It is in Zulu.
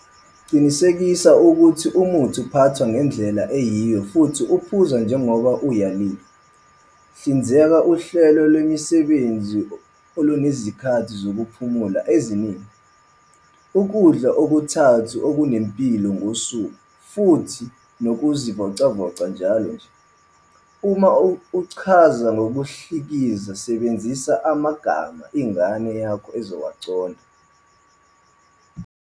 Qinisekisa ukuthi umuthi uphathwa ngendlela eyiyo futhi uphuzwa njengoba uyaleliwe. Hlinzeka uhlelo lwemisebenzi olunezikhathi zokuphumula eziningi, ukudla okuthathu okunempilo kosuku futhi nokuzivocavoca njalo nje. Uma uchaza ngokudlikiza sebenzisa amagama ingane yakho ezowaqonda.